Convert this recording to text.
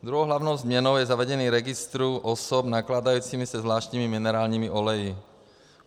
Druhou hlavní změnou je zavedení registru osob nakládajících se zvláštními minerálními oleji.